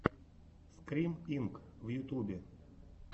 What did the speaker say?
скрим инк в ютюбе